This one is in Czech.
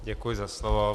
Děkuji za slovo.